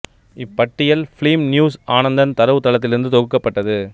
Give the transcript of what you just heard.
இப் பட்டியல் film news Anandan தரவுத் தளத்திலிருந்து தொகுக்கப்பட்டது